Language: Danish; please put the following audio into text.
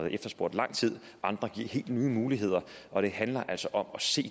efterspurgt i lang tid andre giver helt nye muligheder og det handler altså om at se